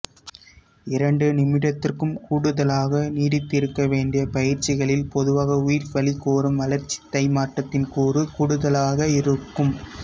இரண்டு நிமிடத்திற்கும் கூடுதலாக நீடித்திருக்க வேண்டிய பயிற்சிகளில் பொதுவாக உயிர்வளிக்கோரும் வளர்சிதைமாற்றத்தின் கூறு கூடுதலாகவிருக்கும்